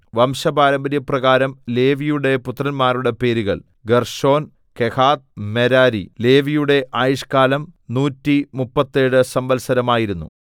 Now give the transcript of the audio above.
വംശപാരമ്പര്യപ്രകാരം ലേവിയുടെ പുത്രന്മാരുടെ പേരുകൾ ഗേർശോൻ കെഹാത്ത് മെരാരി ലേവിയുടെ ആയുഷ്കാലം നൂറ്റിമുപ്പത്തേഴ് സംവത്സരം ആയിരുന്നു